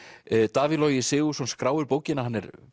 Davíð Logi Sigurðsson skráir bókina hann er